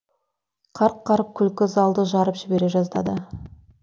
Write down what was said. қарқ қарқ күлкі залды жарып жібере жаздады